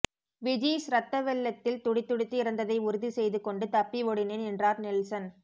விஜீஸ் ரத்த வெள்ளத்தில் துடிதுடித்து இறந்ததை உறுதி செய்து கொண்டு தப்பி ஓடினேன் என்றார் நெல்சன்